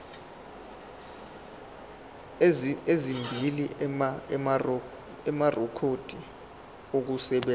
ezimbili amarekhodi okusebenza